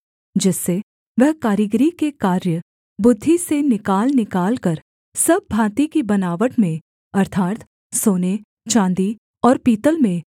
जिससे वह कारीगरी के कार्य बुद्धि से निकाल निकालकर सब भाँति की बनावट में अर्थात् सोने चाँदी और पीतल में